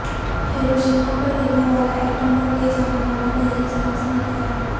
Hiroshima پر گرنے والا ایٹم بم لےجانے والا بحری جہاز مل گیا